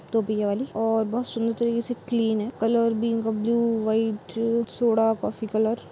तो ये बि वाली और बहुत सुन्दर तरीके से क्लीन है। कलर भी इनका blue white soda coffee colour --